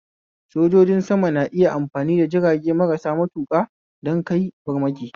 Sojoji sama na iya amfani da jirage marasa matuƙa don kai farmaki